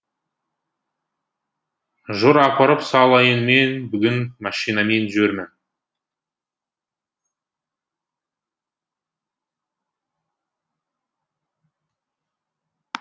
жүр апарып салайын мен бүгін машинамен жүрмін